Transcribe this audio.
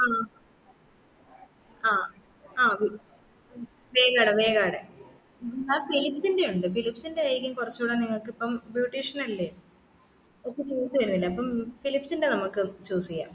ആഹ് ആഹ് ആഹ് വേഗേടെ വേഗേടെ mam ഫിലിപ്സ്ന്റ്റെ ഉണ്ട് ഫിലിപ്സ് ൻറ്റെ ആയ്‌രിക്കും കുറച്ചൂടി നിങ്ങക്ക് ഇപ്പം beautician എല്ലേ അപ്പം choose ചെയ്യുന്നില്ലേ അപ്പൊ ഫിലിപ്സ്ന്റ്റെ നമ്മക് choose ചെയ്യാം